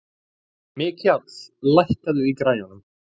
Mikjáll, lækkaðu í græjunum.